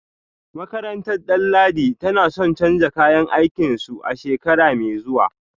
Makarantar Danladi tana son canza kayan aikinsu a shekara mai zuwa